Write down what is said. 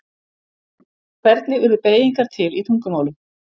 Hvernig urðu beygingar til í tungumálum?